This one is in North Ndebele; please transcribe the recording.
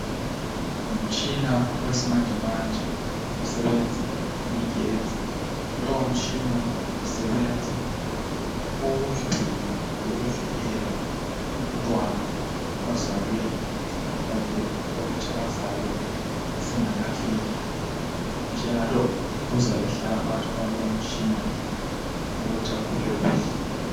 Ngumtshina wesimanjemanje osebenza ngegetsi. Lowo mtshina usebenza ukugcina lokuvikela umntwana ozalwe iskhathi sakhe sokuthi azalwe singakafiki njalo uzabe ehlala phakathi kwalowomtshina ukuthi akhule kuhle.